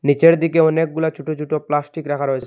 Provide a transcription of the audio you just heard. নীচের দিকে অনেকগুলা ছোটো ছোটো প্লাস্টিক রাখা রয়েছে।